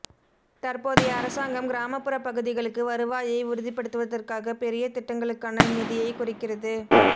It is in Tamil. தற்போதைய அரசாங்கம் கிராமப்புறப் பகுதிகளுக்கு வருவாயை உறுதி படுத்துவதற்காகப் பெரிய திட்டங்களுக்கான நிதியைக் குறைக்கிறது